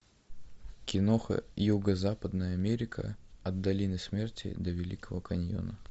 киноха юго западная америка от долины смерти до великого каньона